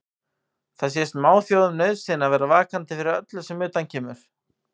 Það sé smáþjóðum nauðsyn að vera vakandi fyrir öllu sem að utan kemur.